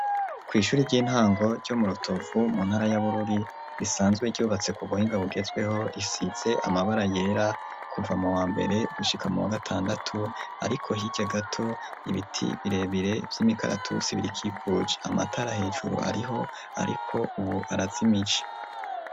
kw’ishuri ry'intango ryo murotovu mu ntara y'abururi risanzwe ryubatse ku buhingabugezweho risitse amabara yera kuva mu wa mbere gushika mu wa gatandatu ariko hirya gato ibiti birebire by'imikaratu sibirikikuji amatara hejuru ariho ariko ubu arazimici .